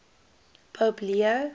pope leo